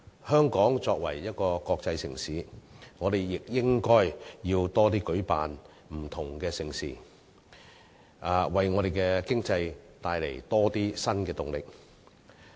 香港作為國際城市，亦應該舉辦更多不同的盛事，為香港的經濟帶來更多新動力。